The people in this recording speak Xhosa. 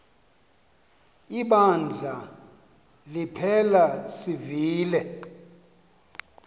ibandla liphela sivile